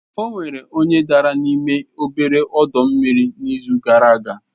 Onwere onye dara n'ime obere ọdọ mmiri n'izu gara aga